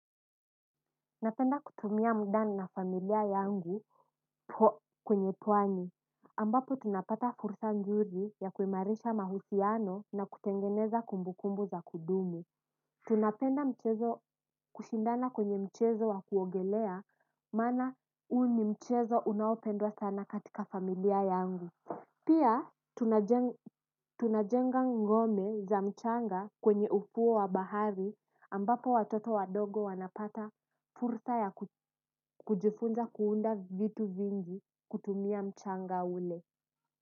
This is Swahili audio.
Napenda kutumia mda na na familia yangu po kwenye pwani ambapo tunapata fursa nzuri ya kuimarisha mahusiano na kutengeneza kumbu kumbu za kudumu. Tunapenda mchezo kushindana kwenye mchezo wa kuogelea maana huu ni mchezo unaopendwa sana katika familia yangu. Pia tunajenga ngome za mchanga kwenye ufuo wa bahari ambapo watoto wadogo wanapata fursa ya kujifunza kuunda vitu vingi kutumia mchanga ule.